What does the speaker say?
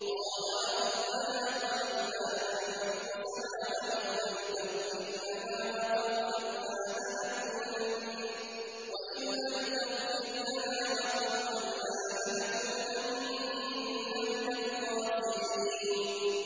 قَالَا رَبَّنَا ظَلَمْنَا أَنفُسَنَا وَإِن لَّمْ تَغْفِرْ لَنَا وَتَرْحَمْنَا لَنَكُونَنَّ مِنَ الْخَاسِرِينَ